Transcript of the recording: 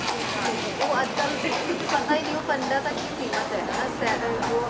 ਹਾਂਜੀ ਉਹ ਅੱਜ ਕੱਲ ਬਿਲਕੁਲ ਕੁਛ ਪਤਾ ਹੀ ਨੀ ਪੰਡਾਂ ਤੱਕ ਹੀ ਸੀਮਿਤ ਹੈ ਹਨਾਂ ਸੈ ਜੋ ਆਪਣੇ